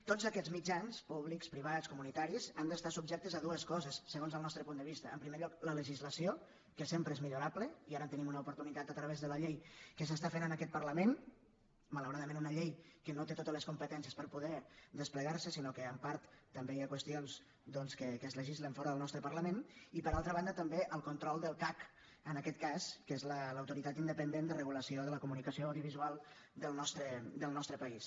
tots aquests mitjans públics privats comunitaris han d’estar subjectes a dues coses segons el nostre punt de vista en primer lloc la legislació que sempre és millorable i ara en tenim una oportunitat a través de la llei que s’està fent en aquest parlament malauradament una llei que no té totes les competències per poder desplegar se sinó que en part també hi ha qüestions que es legislen fora del nostre parlament i per altra banda també el control del cac en aquest cas que és l’autoritat independent de regulació de la comunicació audiovisual del nostre país